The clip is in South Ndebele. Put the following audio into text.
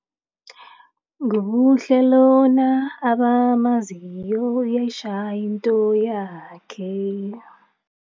Ngubuhle lona abamazinyo uyayitjhaya into yakhe.